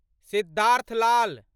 Siddharth Lal